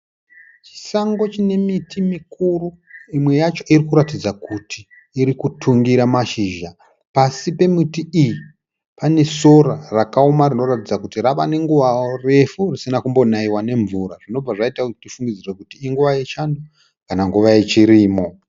Chisango chine miti mikuru imwe yacho iri kuratidza kuti iri kutungira mashizha. Pasi pemiti iyi pane sora rakaoma rinoratidza kuti rava nenguva refu risina kumbonaiwa nemvura, zvinobva zvaita kuti tifungidzire kuti inguva yechando kana nguva yechirimo.